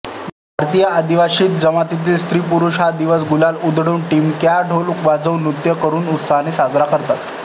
भारतातील आदिवासी जमातीतील स्त्रीपुरुष हा दिवस गुलाल उधळून टिमक्याढोल वाजवून नृत्य करून उत्साहाने साजरा करतात